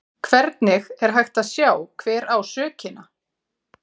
Hvernig er hægt að sjá hver á sökina?